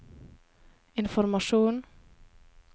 informasjon